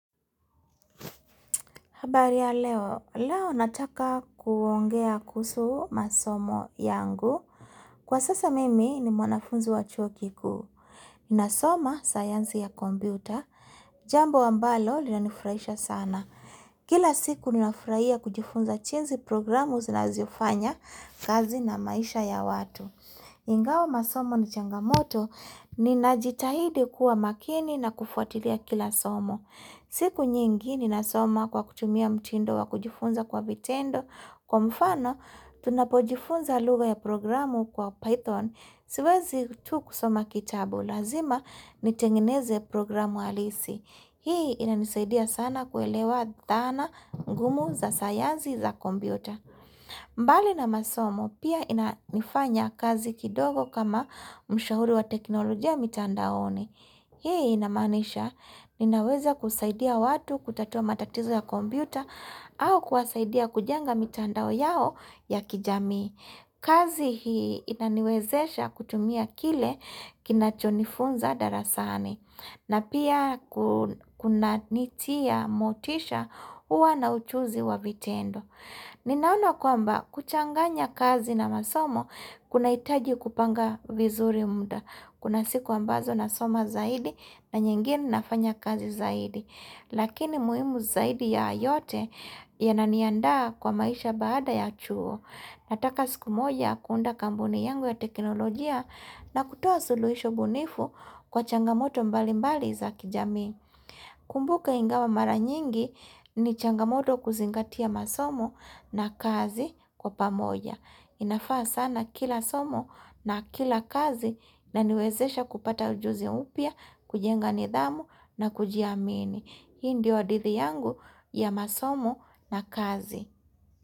Habari ya leo, leo nataka kuongea kuhusu masomo yangu. Kwa sasa mimi ni mwanafunzi wa chuo kikuu. Ninasoma sayansi ya kompyuta. Jambo ambalo linanifurahisha sana. Kila siku ninafurahia kujifunza jinsi programu zinazoifanya kazi na maisha ya watu. Ingawa masomo ni changamoto, ninajitahidi kuwa makini na kufuatilia kila somo. Siku nyingi ninasoma kwa kutumia mtindo wa kujifunza kwa vitendo, kwa mfano tunapojifunza lugha ya programu kwa Python, siwezi tu kusoma kitabu, lazima nitengeneze programu halisi. Hii inanisaidia sana kuelewa dhana ngumu za sayansi za kompyuta. Mbali na masomo, pia nafanya kazi kidogo kama mshauri wa teknolojia mitandaoni. Hii inamanisha, ninaweza kusaidia watu kutatua matatizo ya kompyuta au kuwasaidia kujaza mitandao yao ya kijamii. Kazi hii inaniwezesha kutumia kile kinachonifunza darasani. Na pia kunanitia motisha huwa na uchuzi wa vitendo. Ninaona kwamba kuchanganya kazi na masomo, kunahitaji kupanga vizuri muda. Kuna siku ambazo nasoma zaidi na nyingine nafanya kazi zaidi. Lakini muhimu zaidi ya yote yananiandaa kwa maisha baada ya chuo. Nataka siku moja kuunda kampuni yangu ya teknolojia na kutoa suluhisho bunifu kwa changamoto mbalimbali za kijamii. Kumbuka ingawa mara nyingi ni changamoto kuzingatia masomo na kazi kwa pamoja inafaa sana kila somo na kila kazi inaniwezesha kupata ujuzi mpya kujenga nidhamu na kujiamini Hii ndiyo hadithi yangu ya masomo na kazi.